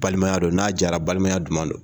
Balimaya don n'a diyara balimaya duman don